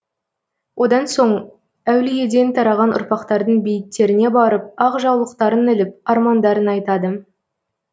одан соң әулиеден тараған ұрпақтардың бейіттеріне барып ақ жаулықтарын іліп армандарын айтады